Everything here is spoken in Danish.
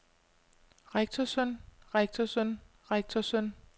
rektorsøn rektorsøn rektorsøn